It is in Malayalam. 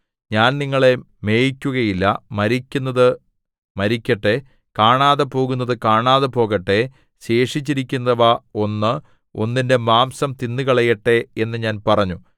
ഞാൻ നിങ്ങളെ മേയ്ക്കുകയില്ല മരിക്കുന്നത് മരിക്കട്ടെ കാണാതെപോകുന്നത് കാണാതെ പോകട്ടെ ശേഷിച്ചിരിക്കുന്നവ ഒന്ന് ഒന്നിന്റെ മാംസം തിന്നുകളയട്ടെ എന്നു ഞാൻ പറഞ്ഞു